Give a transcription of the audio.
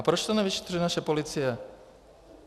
A proč to nevyšetřuje naše policie?